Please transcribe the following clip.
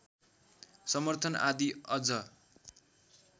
समर्थन आदि अझ